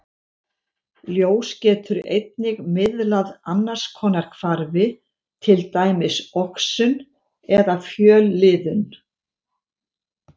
Ljós getur einnig miðlað annars konar hvarfi, til dæmis oxun eða fjölliðun.